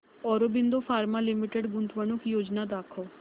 Aurobindo pharma limited गुंतवणूक योजना दाखव